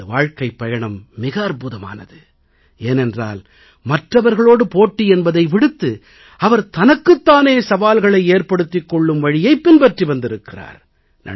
அவரது வாழ்க்கைப் பயணம் மிக அற்புதமானது ஏனென்றால் மற்றவர்களோடு போட்டி என்பதை விடுத்து அவர் தனக்குத் தானே சவால்களை ஏற்படுத்திக் கொள்ளும் வழியைப் பின்பற்றி வந்திருக்கிறார்